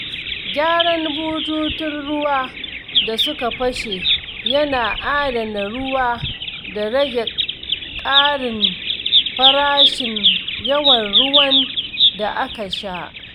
Gyaran bututun ruwa da suka fashe yana adana ruwa da rage ƙarin farashin yawan ruwan da aka sha.